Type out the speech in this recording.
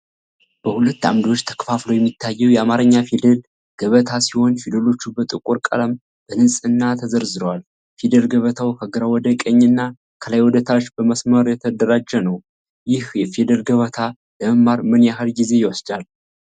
በሁለት ዓምዶች ተከፋፍሎ የሚታየው የአማርኛ ፊደል ገበታ ሲሆን፣ ፊደሎቹ በጥቁር ቀለም በንጽሕና ተዘርዝረዋል። ፊደል ገበታው ከግራ ወደ ቀኝ እና ከላይ ወደ ታች በመስመር የተደራጀ ነው። ይህ ፊደል ገበታ ለመማር ምን ያህል ጊዜ ይወስዳል?